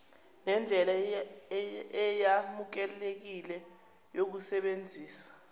nendlela eyamukelekile yokusebenzisa